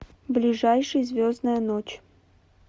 ближайший звездная ночь